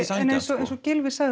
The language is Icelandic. eins og Gylfi sagði